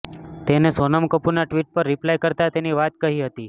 તેને સોનમ કપૂરના ટિ્વટ પર રિપ્લાય કરતા તેની વાત કહી હતી